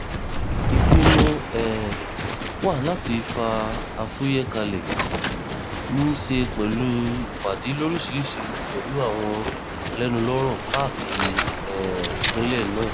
ìpinnu um wa láti fa afuye kalẹ̀ ní í ṣe pẹ̀lú ìpàdé lóríṣìíríṣìí pẹ̀lú àwọn alẹ́nulọ́rọ̀ káàkiri um ìpínlẹ̀ náà